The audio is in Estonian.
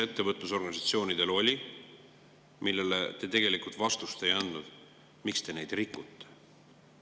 Ettevõtlusorganisatsioonidel oli küsimus, millele te tegelikult vastust ei andnud: miks te neid rikute?